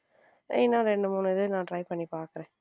சரி ரெண்டு மூணு இது நான் try பண்ணி பாக்குறேன்.